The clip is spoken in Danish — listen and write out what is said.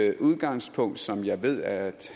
et udgangspunkt som jeg ved at